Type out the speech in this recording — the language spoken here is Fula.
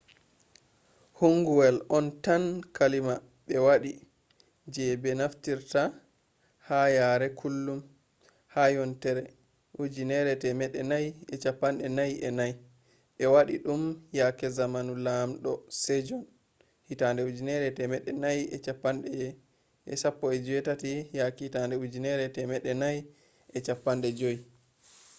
hanguwel on tan kalima ɓe waɗi je ɓe naftirta ha yare kullum. ha yontere 1444 ɓe waɗi ɗum yake zamanu laamdo sejon 1418 – 1450